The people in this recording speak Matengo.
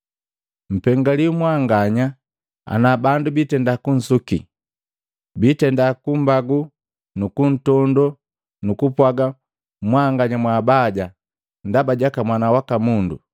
“Mpengaliwi mwanganya ana bandu bitenda kunsuki, biitenda kummbagu nukuntondoo nukumpwaga mwanganya mwaabaja, ndaba jaka Mwana waka Mundu!